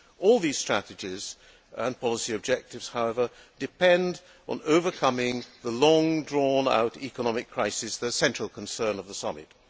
All these strategies and policy objectives, however, depend on overcoming the long drawn out economic crisis, the central concern of the summit.